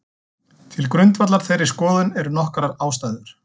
Til grundvallar þeirri skoðun eru nokkrar ástæður.